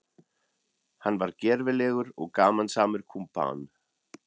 Hann var gervilegur og gamansamur kumpán.